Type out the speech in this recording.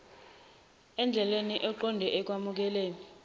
endleleni eqonde ekwamukeleni